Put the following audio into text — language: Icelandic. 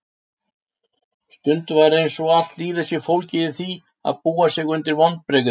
Stundum er einsog allt lífið sé fólgið í því að búa sig undir vonbrigði.